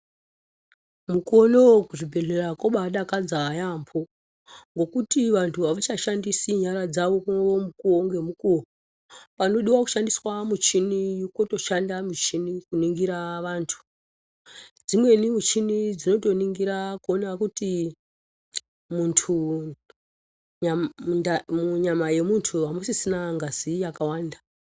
Mukuvo unouyu kuzvibhedhlera kwabadakadza yaambo. ngekuti vantu havachashandisi nyara dzavo mukuvo ngemukuvo. Panodiva kushandisa michini kotoshanda michini kunongira vantu. Dzimweni michini dzinotoningira kuona kuti muntu munyama yemuntu hamusisina ngazi yakawanda.